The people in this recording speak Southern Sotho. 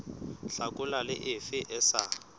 hlakola le efe e sa